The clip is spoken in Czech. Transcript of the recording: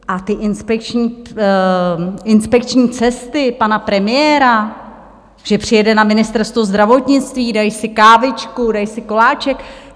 A ty inspekční cesty pana premiéra, že přijede na Ministerstvo zdravotnictví, dají si kávičku, dají si koláček...